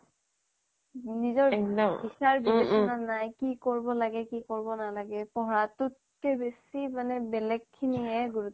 নিজৰ বিচাৰ বিবেচনা নাই কি কৰিব লাগে কি কৰিব নালাগে পঢ়াটোতকে বেচি মানে বেলেগখিনিহে গুৰুত্ব